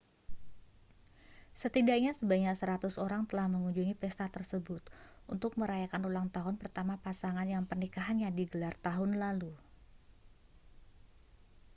setidaknya sebanyak 100 orang telah mengunjungi pesta tersebut untuk merayakan ulang tahun pertama pasangan yang pernikahannya digelar tahun lalu